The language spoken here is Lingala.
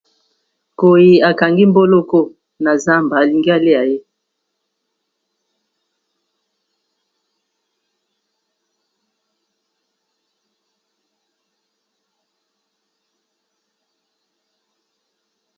Nkoy a kangi mboloko na zamba a lingi a lia ye .